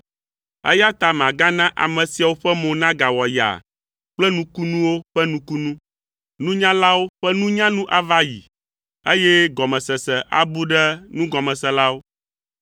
eya ta magana ame siawo ƒe mo nagawɔ yaa kple nukunuwo ƒe nukunu. Nunyalawo ƒe nunya nu ava ayi, eye gɔmesese abu ɖe nugɔmeselawo.”